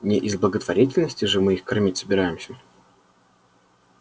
не из благотворительности же мы их кормить собираемся